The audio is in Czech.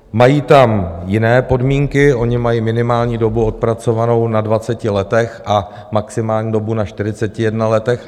Mají tam jiné podmínky, oni mají minimální dobu odpracovanou na 20 letech a maximální dobu na 41 letech.